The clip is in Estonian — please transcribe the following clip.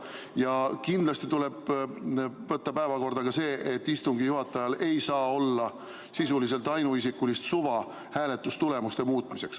Ja kindlasti tuleb võtta päevakorda ka see, et istungi juhatajal ei saa olla sisuliselt ainuisikulist suva hääletustulemusi muuta.